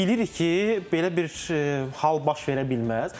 Biz bilirik ki, belə bir hal baş verə bilməz.